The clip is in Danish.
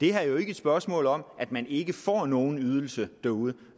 er jo ikke et spørgsmål om at man ikke får nogen ydelse derude